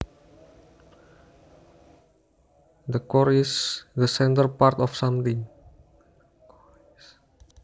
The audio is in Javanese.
The core is the centre part of something